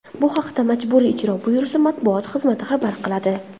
Bu haqda Majburiy ijro byurosi matbuot xizmati xabar qiladi .